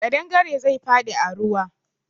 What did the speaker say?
Kaɗangare zai faɗi a ruwa.